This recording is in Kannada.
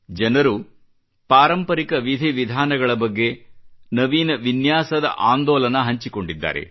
ಜನರು ಪಾರಂಪರಿಕ ವಿಧಿ ವಿಧಾನಗಳ ಬಗ್ಗೆ ನವೀನ ವಿನ್ಯಾಸದ ಆಂದೋಲನ ಹಂಚಿಕೊಂಡಿದ್ದಾರೆ